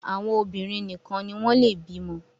àwọn obinrin nìkàn ní wón le bímo